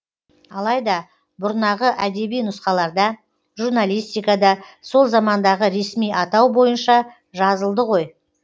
алайда бұрнағы әдеби нұсқаларда журналистикада сол замандағы ресми атау бойынша жазылды ғой